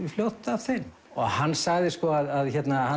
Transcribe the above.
fljótt að þeim hann sagði að